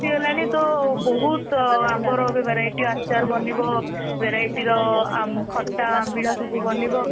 ଆସିଗଲାଣି ତ ବହୁତ ଆମ୍ବ ର ଏବେ variety ଆଚାର ବନିବ variety ଖଟା ଆମ୍ବିଳା ସବୁ ବନିବ .